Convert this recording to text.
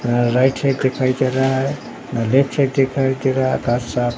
र right side दिखाई दे रहा है साइड दिखाई दे रहा घास साफ--